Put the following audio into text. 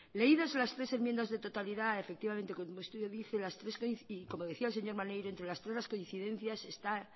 leídas las tres enmiendas de totalidad efectivamente como el estudio dice las tres como decía el señor maneiro entre las tres las coincidencias está